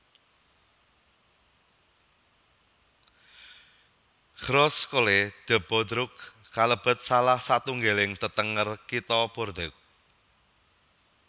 Grosse Cloche de Bordeaux kalebet salah satunggalipun tetenger Kitha Bordeaux